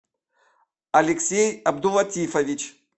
алексей абдулатифович